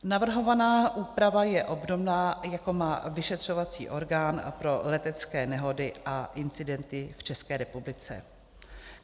Navrhovaná úprava je obdobná, jako má vyšetřovací orgán pro letecké nehody a incidenty v České republice.